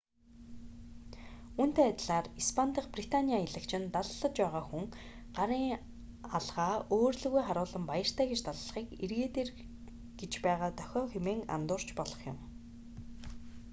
үүнтэй адилаар испани дахь британий аялагч нь даллаж байгаа хүн даллуулж байгаа хүнээс илүү гарын алгаа өөр лүүгээ харуулан баяртай гэж даллахыг эргээд ир гэж байгаа дохио хэмээн андуурч болох юм